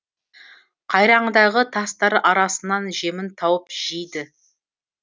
қайраңдағы тастар арасынан жемін тауып жейді